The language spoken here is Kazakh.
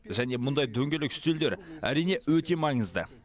және мұндай дөңгелек үстелдер әрине өте маңызды